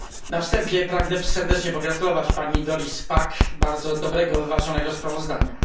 Na wstępie pragnę serdecznie pogratulować pani Doris Pack bardzo dobrego, wyważonego sprawozdania.